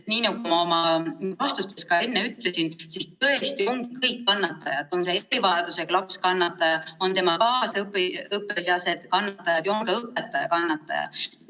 Nii nagu ma ka enne oma vastustes ütlesin, tõesti on kõik kannatajad – on see erivajadusega laps kannataja, on tema kaasõpilased kannatajad ja on ka õpetaja kannataja.